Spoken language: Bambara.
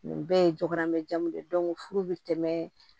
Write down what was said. Nin bɛɛ ye jogonanjanw de ye furu bɛ tɛmɛ